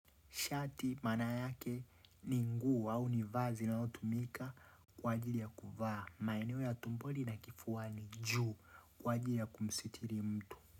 Shati maana yake ni nguo au ni vazi linalotumika kwa ajili ya kuvaa. Maeneo ya tumboni na kifuani juu kwa ajili ya kumsitiri mtu.